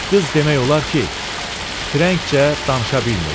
Qız demək olar ki, frenkçə danışa bilmirdi.